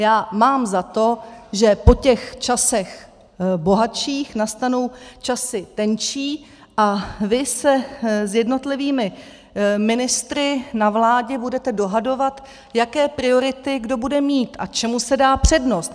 Já mám za to, že po těch časech bohatších nastanou časy tenčí a vy se s jednotlivými ministry na vládě budete dohadovat, jaké priority kdo bude mít a čemu se dá přednost.